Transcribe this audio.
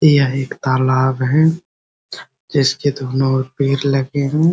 यह एक तालाब है जिसके दोनों ओर पेड़ लगे हैं ।